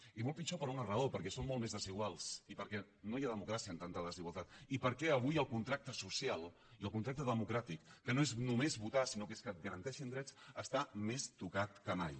i molt pitjor per una raó perquè som molt més desiguals i perquè no hi ha democràcia amb tanta desigualtat i perquè avui el contracte social i el contracte democràtic que no és només votar sinó que és que et garanteixin drets està més tocat que mai